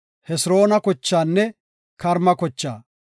Hesiroona kochaanne Karma kochaa;